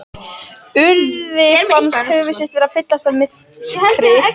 Urði fannst höfuð sitt vera að fyllast af myrkri.